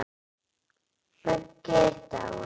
Böggi er dáinn.